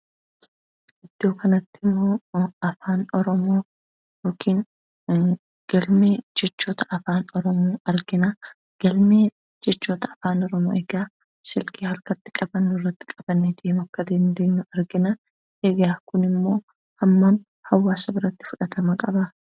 Iddoo kanatti immoo afaan oromoo yookiin galmee jechoota Afaan Oromoo yookiin galmee jechoota afaan oromoodha. Egaa bilbila harkarratti qabannee deemnu irratti qabannee akka deemuu dandeenyu argina. Egaa kunimmoo hawaasa biratti ammam fudhatama qaba?